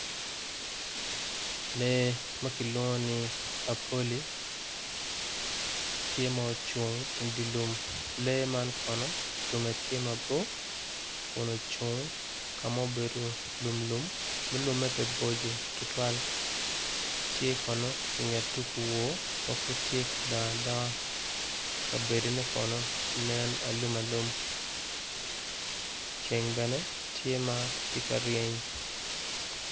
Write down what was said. Lee ma kilwongo ni apoli tye ma ocung i dye lum tunge tye mabor kun ocung ka ma obedo lumlum dok lumme pe bor tutwal tye kono i nget tugo owor ma tye ka dongo adonga kabedone nen alumalum ceng tye ka ryeny